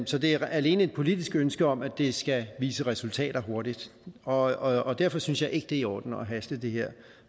så det er alene et politisk ønske om at det skal vise resultater hurtigt og derfor synes jeg ikke det er i orden at haste det her